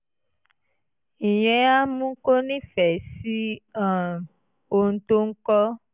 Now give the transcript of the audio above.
ìyẹn á mú kó nífẹ̀ẹ́ sí um ohun tó ń kọ́